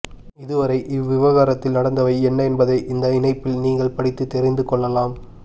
இதுவரை இவ்விவகாரத்தில் நடந்தவை என்ன என்பதை இந்த இணைப்பில் நீங்கள் படித்து தெரிந்து கொள்ளலாம்